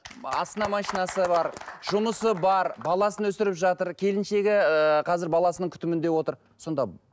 астында машинасы бар жұмысы бар баласын өсіріп жатыр келіншегі ыыы қазір баласының күтімінде отыр сонда